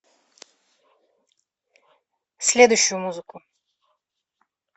следующую музыку